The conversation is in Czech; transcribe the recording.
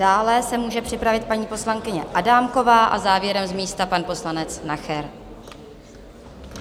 Dále se může připravit paní poslankyně Adámková a závěrem z místa pan poslanec Nacher.